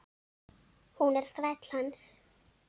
Hún er þræll hans.